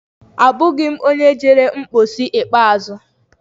Abụghị m onye jere mposi ikpeazụ.